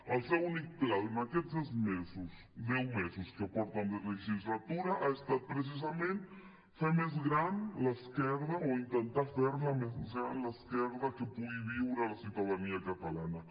el seu únic pla en aquests deu mesos que porten de legislatura ha estat precisament fer més gran l’esquerda o intentar fer més gran l’esquerda que pugui viure la ciutadania catalana